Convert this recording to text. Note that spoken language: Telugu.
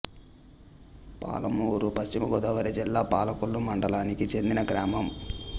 పాలమూరు పశ్చిమ గోదావరి జిల్లా పాలకొల్లు మండలానికి చెందిన గ్రామం